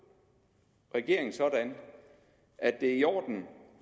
regeringen sådan at det er i orden